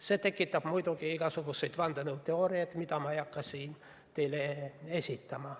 See tekitab muidugi igasuguseid vandenõuteooriaid, mida ma ei hakka teile siin esitama.